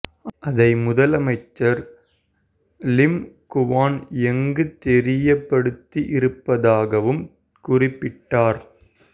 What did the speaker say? அதை முதலமைச்சர் Lim Guan எங்குக்குத் தெரியப்படுத்தி இருப்பதாகவும் குறிப்பிட்டார்